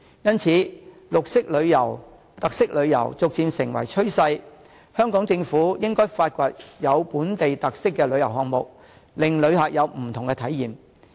因此，綠色旅遊、特色旅遊逐漸成為趨勢，香港政府應該發掘有本地特色的旅遊項目，令旅客有不同體驗。